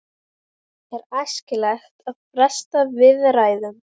Er ekkert erfitt að byrja með meistaraflokk í þessu árferði?